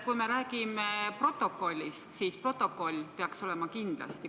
Kui me räägime protokollist, siis protokoll peaks kindlasti olemas olema.